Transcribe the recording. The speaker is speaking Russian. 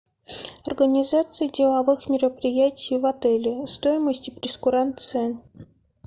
организация деловых мероприятий в отеле стоимость и прейскурант цен